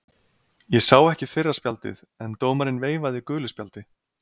Ég sá ekki fyrra spjaldið en dómarinn veifaði gulu spjaldi.